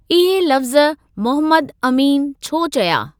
इहे लफ़्ज़ मुहम्मद अमीन छो चया?